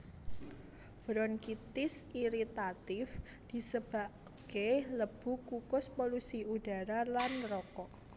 Bronkitis iritatif disebabke lebu kukus polusi udara lan rokok